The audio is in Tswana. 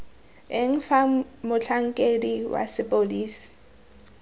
eng fa motlhankedi wa sepodisi